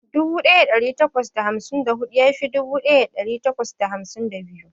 Dubu daya dari takwas da hamsin da hudu ya fi dubu daya dari takwas da hamsin da biyu.